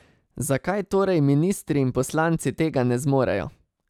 Zakaj torej ministri in poslanci tega ne zmorejo?